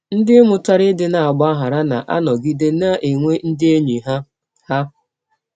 Ndị mụtara ịdị na - agbaghara na - anọgide na - enwe ndị enyi ha. ha.